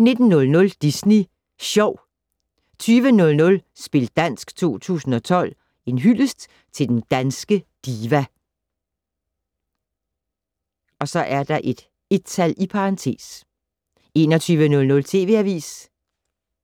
19:00: Disney Sjov 20:00: Spil dansk 2012 - En hyldest til den danske diva (1) 21:00: TV Avisen